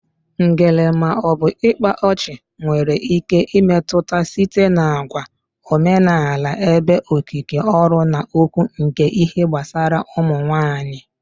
Ngele/ịkpa ọchị nwere ike imetụta site n'àgwà omenala ebe okike ọrụ na okwu nke ihe gbasara ụmụ nwanyị